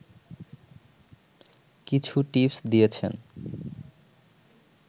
কিছু টিপস দিয়েছেন